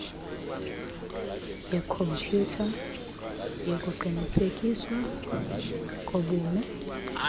yekhompyutha yokuqinisekiswa kobume